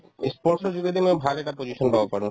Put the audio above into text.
ই sports ৰ যোগেদি মই ভাল এটা position পাব পাৰো